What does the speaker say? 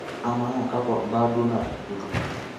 Ama kakwa mbaa duo natupukutuo?